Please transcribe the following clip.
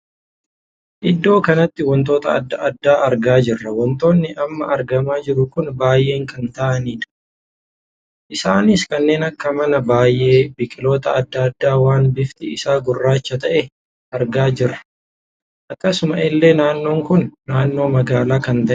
Iddoo kanatti wantoota addaa addaa argaa jirra. wantoonni amma argamaa jiru kun baay'ee kan taa'anidha. isaanis kanneen akka manaa baay'ee, biqiloota addaa addaa waan bifti isaa gurraacha tahe argaa jirraam. akkasuma illee naannoon kun naannoo magaalaa kan taheedha.